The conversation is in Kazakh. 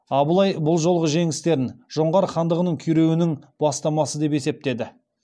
абылай бұл жолғы жеңістерін жоңғар хандығының күйреуінің бастамасы деп есептеді